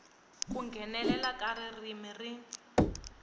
ku nghenelela ka ririmi rin